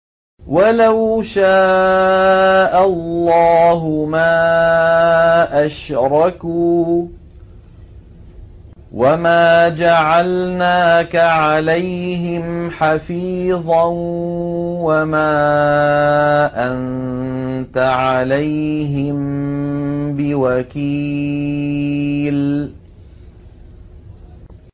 وَلَوْ شَاءَ اللَّهُ مَا أَشْرَكُوا ۗ وَمَا جَعَلْنَاكَ عَلَيْهِمْ حَفِيظًا ۖ وَمَا أَنتَ عَلَيْهِم بِوَكِيلٍ